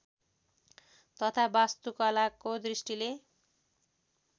तथा वास्तुकलाको दृष्टिले